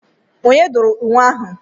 Onye dụrụ nwe ahụ?